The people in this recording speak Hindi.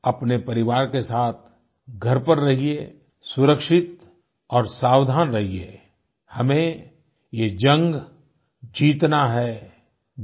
आप अपने परिवार के साथ घर पर रहिए सुरक्षित और सावधान रहिए हमें ये जंग जीतना है